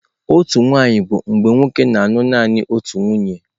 Otu nwaanyị bụ nwoke na-alụ naanị otu nwunye.